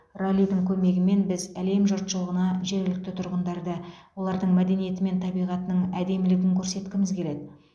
раллидің көмегімен біз әлем жұртшылығына жергілікті тұрғындарды олардың мәдениеті мен табиғатының әдемілігін көрсеткіміз келеді